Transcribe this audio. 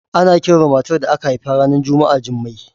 Ana kiran matar da aka haifa ranar Juma'a Jummai